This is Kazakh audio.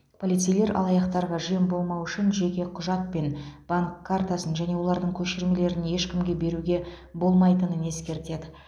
полицейлер алаяқтарға жем болмау үшін жеке құжат пен банк картасын және олардың көшірмелерін ешкімге беруге болмайтынын ескертеді